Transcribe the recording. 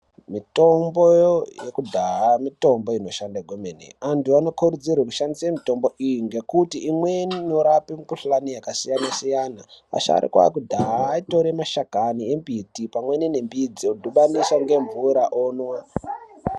Mitombo yekudhaya mitombo inoshanda kwemene antu anokurudzirwe kushandise mitombo iyi ngekuti imweni inorape mikhuhlani yakasiyanasiyana, asharuka ekudhaya aitora mashakani embiti pamweni nembidzi odhibanisa nemvura omwa.